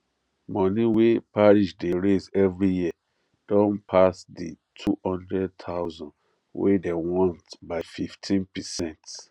money wey parish dey raise every year don pass the 200000 wey dem want by 15 percent